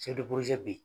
bi